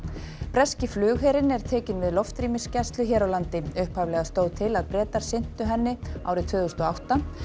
breski flugherinn er tekinn við loftrýmisgæslu hér á landi upphaflega stóð til að Bretar sinntu henni árið tvö þúsund og átta